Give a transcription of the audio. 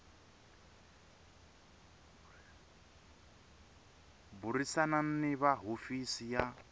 burisana ni va hofisi ya